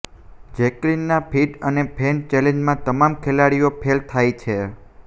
જેકલિનના fit અને fail ચેલેન્જમાં તમામ ખેલાડીઓ ફેલ થાય છે